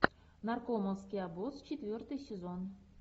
наркомовский обоз четвертый сезон